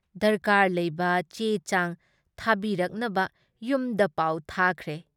ꯗꯔꯀꯥꯔ ꯂꯩꯕ ꯆꯦ ꯆꯥꯡ ꯊꯥꯕꯤꯔꯛꯅꯕ ꯌꯨꯝꯗ ꯄꯥꯎ ꯊꯥꯈ꯭ꯔꯦ ꯫